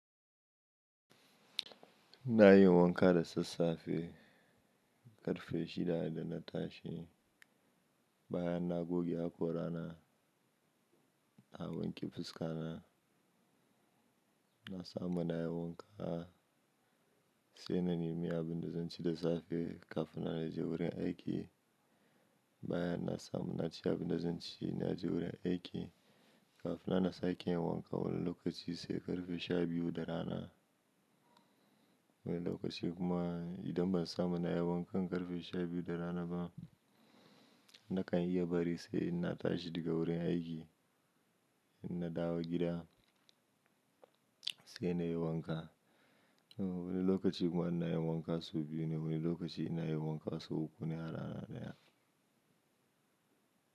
Na yi wanka da sassafe ƙarfe shida da na tashi. Baya na goge hakora na, na wanke fuska na. Na samu na yi wanka sai na nemi abin da zan ci da safe kafin na je wurin aiki. Baya na samu na ci abin da zan ci na je wurin aiki. Kafina na sake yin wanka wani lokaci sai ƙarfe sha biyu da rana. Wani lokaci kuma idan ban samu na yi wanka ƙarfe sha biyu da rana ba, na kan iya bari sai ina tashi daga wurin aiki ina dawo gida sai na yi wanka. Wani lokaci kuma ina yin wanka sau biyu ne, wani lokaci ina yi wanka sau uku ne a rana ɗaya.